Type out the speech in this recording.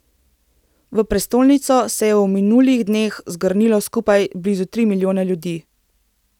V prestolnico se je v minulih dneh zgrnilo skupaj blizu tri milijone ljudi.